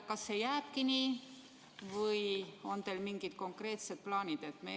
Kas see jääbki nii või on teil mingeid konkreetseid plaane?